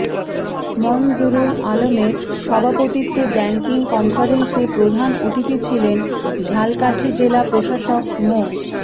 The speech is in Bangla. মনজুরুল আলমের সভাপতিত্বে ব্যাংকিং কনফারেন্সে প্রধান অতিথি ছিলেন ঝালকাঠি জেলা প্রশাসক মো